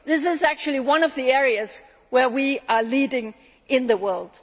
doing this is actually one of the areas where we are leading the